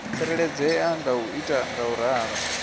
tsireledzea nga u ita ngauralo